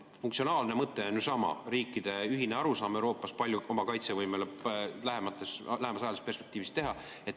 Funktsionaalne mõte on ju sama – riikide ühine arusaam Euroopas, kui palju oma kaitsevõimesse lähemas ajalises perspektiivis.